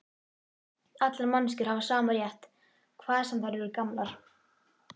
Allar manneskjur hafa sama rétt, hvað sem þær eru gamlar.